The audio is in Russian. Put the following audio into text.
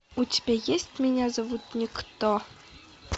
у тебя есть меня зовут никто